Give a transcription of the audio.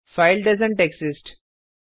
file doesn't exist